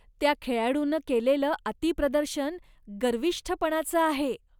त्या खेळाडूनं केलेलं अतिप्रदर्शन गर्विष्ठपणाचं आहे.